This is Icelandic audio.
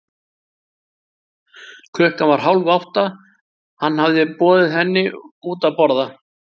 Klukkan var hálf átta, hann hafði boðið henni henni út að borða.